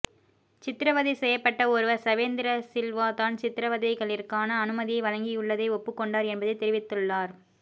சித்திரவதை செய்யப்பட்ட ஒருவர் சவேந்திரசில்வா தான் சித்திரவதைகளிற்கான அனுமதியை வழங்கியுள்ளதை ஒப்புக்கொண்டார் என்பதை தெரிவித்துள்ளார்